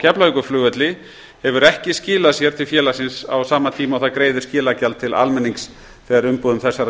keflavíkurflugvelli hefur ekki skilað sér til félagsins á sama tíma og það greiðir skilagjald til almennings þegar umbúðum þessara